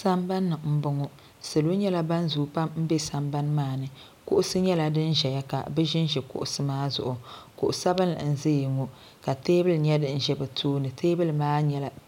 Sambani m boŋɔ salo nyɛla ban zoo pam sambani maani kuɣusi nyɛla din ʒɛya ka bɛ ʒinʒi kuɣusi maa zuɣu kuɣu sabinli n ʒiya ŋɔ ka teebuli nyɛ di ʒɛ bɛ tooni teebuli maa